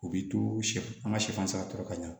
U bi to sɛfan an ka sɛfan sara tɔ ka ɲa